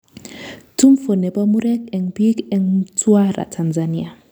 Tumfo nepo murek eng piik eng Mtwara Tanzania